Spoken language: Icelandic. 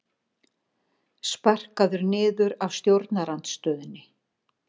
Sparkaður niður af stjórnarandstöðunni